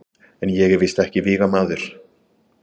En ég er víst ekki vígamaður.